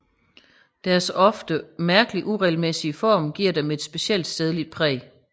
Deres ofte mærkelig uregelmæssige Form giver dem et specielt stedligt Præg